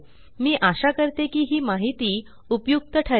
मी आशा करते की ही माहिती उपयुक्त ठरेल